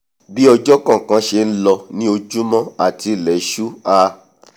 bí ọjọ́ kọ̀ọ̀kan ṣe nlọ ni ojúmọ àti ilẹ̀ṣú a